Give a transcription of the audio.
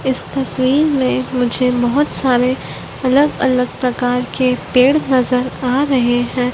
इस तस्वीर में मुझे बहोत सारे अलग अलग प्रकार के पेड़ नजर आ रहे हैं।